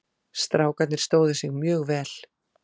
Strákarnir stóðu sig mjög vel.